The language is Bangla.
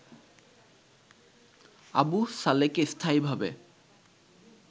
আবু সালেহকে স্থায়ীভাবে